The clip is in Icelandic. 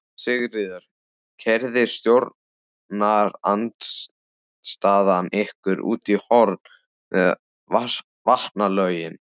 Sigríður: Keyrði stjórnarandstaðan ykkur út í horn með vatnalögin?